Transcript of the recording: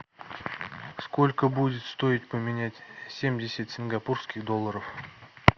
сколько будет стоить поменять семьдесят сингапурских долларов